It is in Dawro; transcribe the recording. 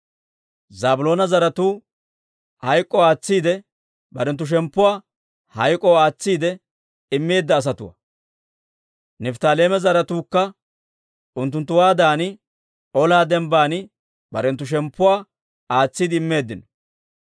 Zaabiloona zaratuu barenttu shemppuwaa hayk'k'oo aatsiide immeedda asatuwaa. Nifttaaleema zaratuukka unttunttuwaadan ola dembban barenttu shemppuwaa aatsiide immeeddino.